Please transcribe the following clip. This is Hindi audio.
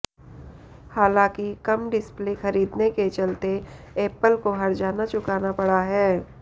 हालांकि कम डिस्प्ले खरीदने के चलते एप्पल को हर्जाना चुकाना पड़ा है